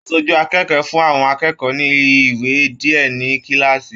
Aṣojú akẹ́kọ̀ọ́ fún àwọn akẹ́kọ̀ọ́ ní ìwé diẹ ní kilaasi.